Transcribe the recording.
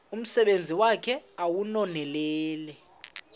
umsebenzi wakhe ewunonelele